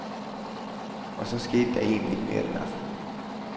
Og så skete der egentlig ikke mere den aften.